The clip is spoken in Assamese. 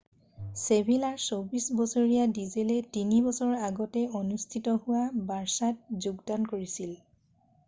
ছেভিলাৰ 28 বছৰীয়া ভিডেলে 3 বছৰৰ আগতে অনুষ্ঠিত হোৱা বাৰ্ছাত যোগদান কৰিছিল